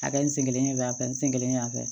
A kɛ n sen kelen yan fɛ n sen kelen fɛ